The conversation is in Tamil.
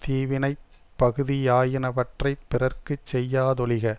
தீவினைப் பகுதியாயினவற்றைப் பிறர்க்கு செய்யாதொழிக